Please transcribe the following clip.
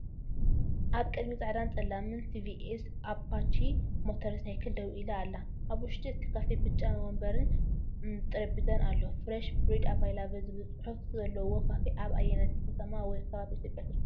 ኣብ ቅድሚት ጻዕዳን ጸላምን ቲቪኤስ ኣፓቺ ሞተር ሳይክል ደው ኢላ ኣላ። ኣብ ውሽጢ እቲ ካፌ ብጫ መንበርን ጠረጴዛን ኣሎ። "Fresh bread availa ble" ዝብል ጽሑፍ ዘለዎካፈ ኣብ ኣየነይቲ ከተማ ወይ ከባቢ ኢትዮጵያ ይርከብ?